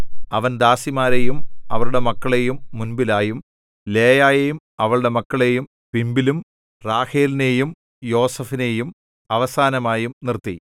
അവൻ ദാസിമാരെയും അവരുടെ മക്കളെയും മുൻപിലായും ലേയായെയും അവളുടെ മക്കളെയും പിമ്പിലും റാഹേലിനെയും യോസേഫിനെയും അവസാനമായും നിർത്തി